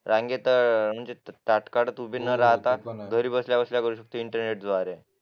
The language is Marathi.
रांगेत ताटकळत उभे न राहता घरी बसल्या बसल्या करू शकता इंटरनेट द्वारे